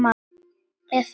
eða sem